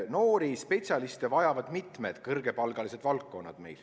Noori spetsialiste vajavad meil mitmed kõrgepalgalised valdkonnad.